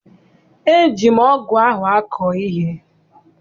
Eji m ọgụ ahụ akọ ihe.